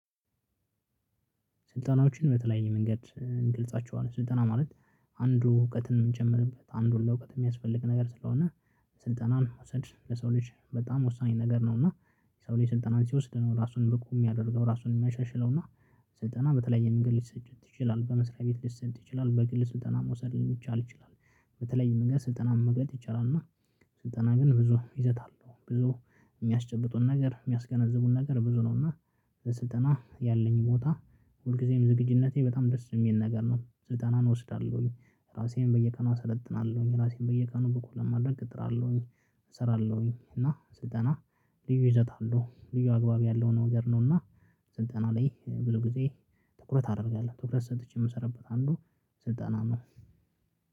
ስልጠናዎችን በተለያየ መንገድ እንገልጻቸዋለን ስልጠና ማለት አንዱ እውቀትን የምንጨምርበት አንዱን ለእውቀት የሚያስፈልግ ነገር ስለሆነ ስልጠናን መውሰድ ለሰው ልጅ በጣም ወሳኝ ነገር ነው። እና የሰው ልጅ ስልጠናን ሲወስድ ነው ራሱን ብቁ ሚያደርገው ራሱን የሚያሻሽለው። እና ስልጠና በተለይ መንገድ ልትሰጭት ይችላል በመስሪያ ቤት ሊሰጥ ይችላል በግል ስልጠና መውሰድ የሚቻል ይችላል። በተለያየ መንገድ ስልጠናን መግለጥ ይቻላል። እና ስልጠና ግን ብዙ ይዘት አለው ብዙ የሚያስጨብጡን ነገር የሚያስገነዝቡን ነገር ብዙ ነው። ነውና ስልጠና ያለኝ ቦታ ሁልጊዜም ዝግጅነቴ በጣም ደስ የሚል ነገር ነው ስልጠናን እወስዳለሁኝ። ራሴን በየቀኑ አሰለጥናለሁኝ ራሴን በየቀኑ በኩል ለማድረግ እጠራለሁኝ። እሰራለሁኝ እና ስልጠና ልዩ ይዘት አለው ልዩ አግባብ ያለው ነው ነገር ነው። እና ስልጠና ላይ ብዙ ጊዜ ትኩረት አደርጋለሁ ትኩረት ሰጥቼ የምሰራበት አንዱ። ስልጠና ነው።